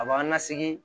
A b'a lasegin